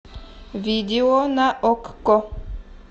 видео на окко